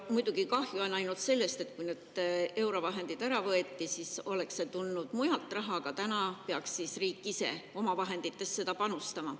Muidugi on kahju sellest, et oleks tulnud raha mujalt, aga eurovahendid võeti ära ja täna peaks riik ise oma vahenditest sinna panustama.